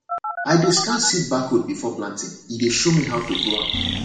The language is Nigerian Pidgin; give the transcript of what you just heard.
i dey scan seed barcode before planting e dey show me how to grow am